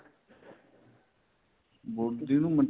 body ਨੂੰ